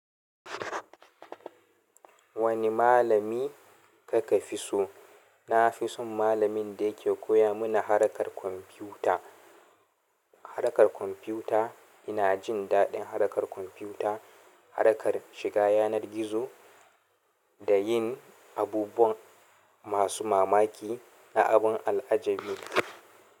Wani malami ka ka fi so? Na fi son malamin da yake koya mana harkar kwamfuta. Harkar kwamfuta ina jin daɗin harkar kwamfuta, harkar shiga yanar gizo da yin abubuwan masu mamaki na abun al'ajabi.